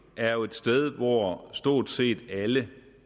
er jo et sted hvor stort set alle